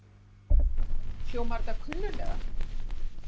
Hljómar þetta kunnulega?